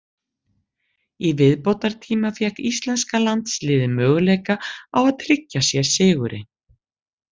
Í viðbótartíma fékk íslenska liðið möguleika á að tryggja sér sigurinn.